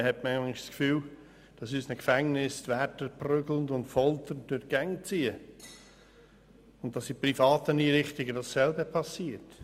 manchmal hat man das Gefühl, dass in unseren Gefängnissen die Wärter prügelnd und folternd durch die Gänge ziehen und dass in privaten Einrichtungen dasselbe passiert.